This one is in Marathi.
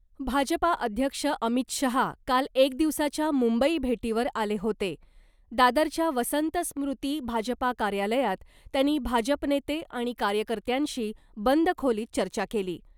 भाजपा अध्यक्ष अमित शहा काल एकदिवसाच्या मुंबई भेटीवर आले होते दादरच्या वसंतस्मृती भाजपा कार्यालयात त्यांनी भाजपनेते आणि कार्यकर्त्यांशी बंद खोलीत चर्चा केली .